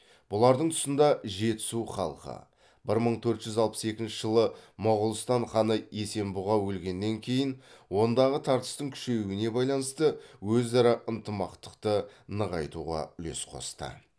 бұлардың тұсында жетісу халқы бір мың төрт жүз алпыс екінші жылы моғолстан ханы есенбұға өлгеннен кейін ондағы тартыстың күшеюіне байланысты өзара ынтымақтықты нығайтуға үлес қосты